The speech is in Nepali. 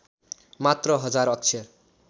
मात्र १००० अक्षर